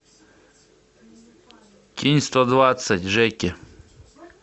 кинь сто двадцать жеке